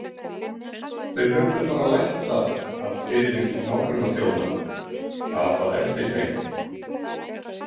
Þeir höfðu bara lært það af fyrirmynd nágrannaþjóðanna- „apað eftir“ þeim.